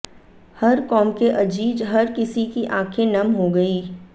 हर कौम के अजीज हर किसी की आंखे नम हो गईं